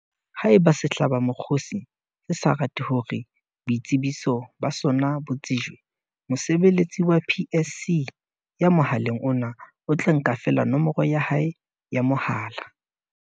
Haeba sehlabamokgosi se sa rate hore boitsebiso ba sona bo tsejwe, mosebeletsi wa PSC ya mohaleng ona o tla nka feela nomoro ya hae ya mohala.